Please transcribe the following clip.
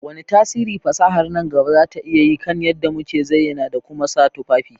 Wane tasiri fasahar nan gaba za ta iya yi kan yadda muke zayyana da kuma sa tufafi?